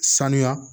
Sanuya